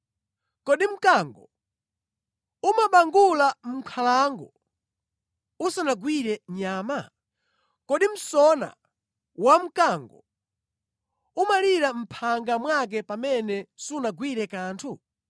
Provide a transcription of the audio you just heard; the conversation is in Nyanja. Kodi mkango umabangula mʼnkhalango usanagwire nyama? Kodi msona wamkango umalira mʼphanga mwake pamene sunagwire kanthu?